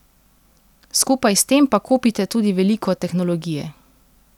Skupaj s tem pa kupite tudi veliko tehnologije.